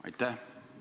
Aitäh!